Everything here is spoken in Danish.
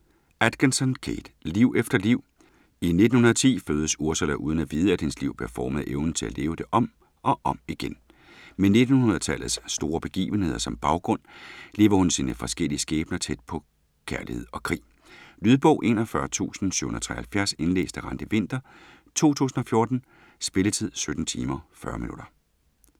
Atkinson, Kate: Liv efter liv I 1910 fødes Ursula uden at vide, at hendes liv bliver formet af evnen til at leve det om og om igen. Med 1900-tallets store begivenheder som baggrund, lever hun sine forskellige skæbner tæt på kærlighed og krig. Lydbog 41773 Indlæst af Randi Winther, 2014. Spilletid: 17 timer, 40 minutter.